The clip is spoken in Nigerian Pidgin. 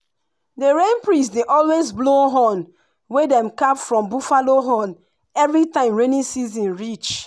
the rain priest dey always blow horn wey dem carve from buffalo horn every time rainy season reach.